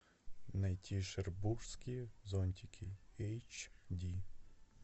найти шербургские зонтики эйч ди